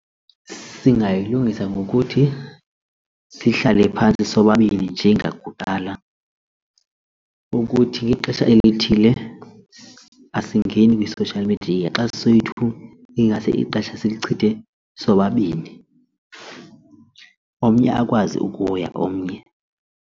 Singayilungisa ngokuthi sihlale phantsi sobabini njengakuqala ukuthi ngexesha elithile asesingeni kwi-social media xa soyi-two ingase ixesha silichithe sobabini omnye akwazi ukuya komnye.